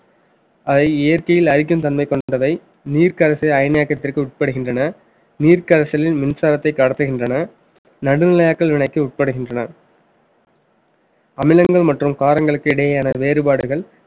அதை இயற்கையில் அழிக்கும் தன்மை கொண்டவை நீர்க் கரைசலில் அயனாக்கத்திற்கு உட்படுகின்றன நீர் கரைசலில் மின்சாரத்த கடத்துகின்றன நடுநிலையாக்கள் வினைக்கு உட்படுகின்றன அமிலங்கள் மற்றும் காரங்களுக்கு இடையேயான வேறுபாடுகள்